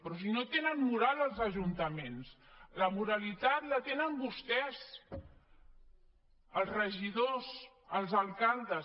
però si no tenen moral els ajuntaments la moralitat la tenen vostès els regidors els alcaldes